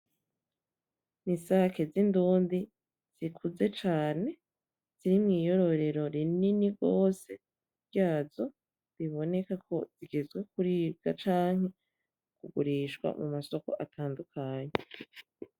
Nisake zindundi zikuze cane ziri mwiyororero rinini gose ryazo, bibonekako zigeze kuribwa canke kugurishwa mumasoko atandukanye.